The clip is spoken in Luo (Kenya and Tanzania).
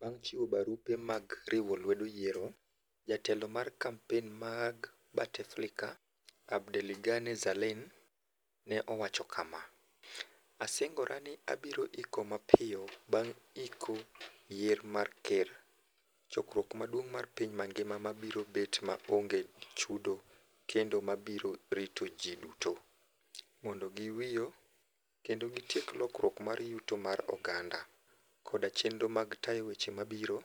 Bang' chiwo barupe mag riwo lwedo yiero, Jatelo mar kampen mag Bauteflika, Abdelighani Zaalane ne owacho kama: " Asingora ni abiro iko mapio bang' iko yiero mar ker, chokruok maduong' mar piny ngima ma biro bet ma onge chudo kendo ma biro rito ji duto, mondo giwio, kendo gitiek lokruok mar yuto mar oganda koda chenro mag tayo weche ma biro